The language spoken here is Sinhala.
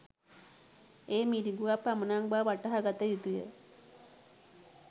එය මිරිඟුවක් පමණක් බව වටහා ගත යුතුය.